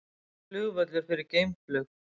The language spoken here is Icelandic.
Flugvöllur fyrir geimflug